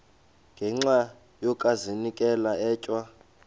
ngenxa yokazinikela etywa